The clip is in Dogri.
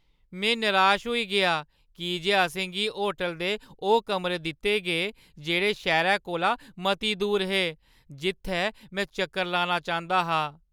में निराश होई गेआ की जे असें गी होटलै दे ओह् कमरे दित्ते गे जेह्ड़े शैह्‌रै कोला मती दूर हे जित्थै में चक्कर लाना चांह्दा हा।